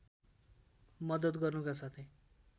मद्दत गर्नुका साथै